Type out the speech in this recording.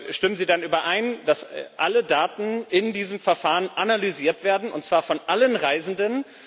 Stimmen Sie denn überein, dass alle Daten in diesem Verfahren analysiert werden, und zwar von allen Reisenden?